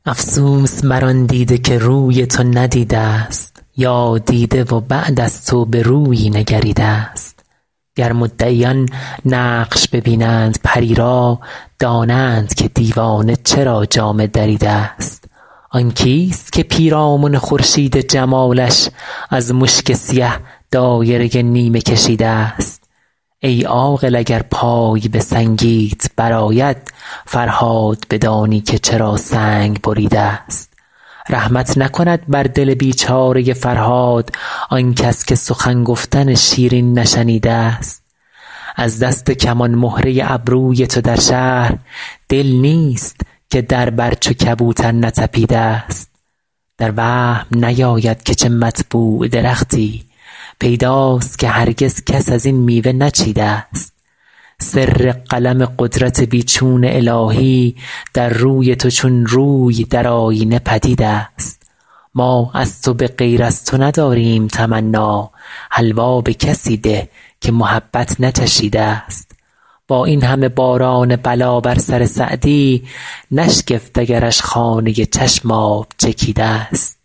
افسوس بر آن دیده که روی تو ندیده ست یا دیده و بعد از تو به رویی نگریده ست گر مدعیان نقش ببینند پری را دانند که دیوانه چرا جامه دریده ست آن کیست که پیرامن خورشید جمالش از مشک سیه دایره نیمه کشیده ست ای عاقل اگر پای به سنگیت برآید فرهاد بدانی که چرا سنگ بریده ست رحمت نکند بر دل بیچاره فرهاد آنکس که سخن گفتن شیرین نشنیده ست از دست کمان مهره ابروی تو در شهر دل نیست که در بر چو کبوتر نتپیده ست در وهم نیاید که چه مطبوع درختی پیداست که هرگز کس از این میوه نچیده ست سر قلم قدرت بی چون الهی در روی تو چون روی در آیینه پدید است ما از تو به غیر از تو نداریم تمنا حلوا به کسی ده که محبت نچشیده ست با این همه باران بلا بر سر سعدی نشگفت اگرش خانه چشم آب چکیده ست